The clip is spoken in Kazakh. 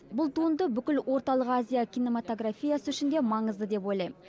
бұл туынды бүкіл орталық азия кинематографиясы үшін де маңызды деп ойлаймын